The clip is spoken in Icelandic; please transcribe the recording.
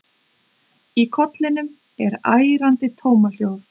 Í kollinum er ærandi tómahljóð.